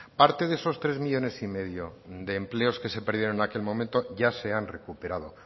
parte de esos tres coma cinco millónes de empleos que se perdieron en aquel momento ya se han recuperado